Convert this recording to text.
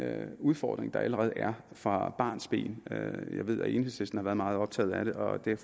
udfordring der allerede er fra barnsben jeg ved at enhedslisten har været meget optaget af det og det er